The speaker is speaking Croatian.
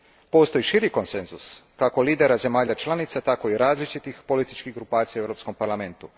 Postoji širi konsenzus kako lidera zemalja članica tako i različitih političkih grupacija u Europskom parlamentu.